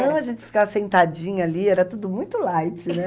Não, a gente ficava sentadinha ali, era tudo muito light, né?